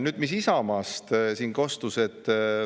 Nüüd, mis Isamaast siin kostis?